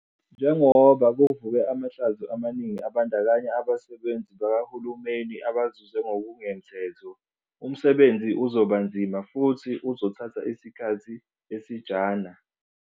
Njengoba kuvuke amahlazo amaningi abandakanya abasebenzi bakahulumeni abazuze ngokungemthetho, umsebenzi uzoba nzima futhi uzothatha isikhathi esijana.